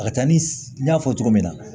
A ka ca ni n y'a fɔ cogo min na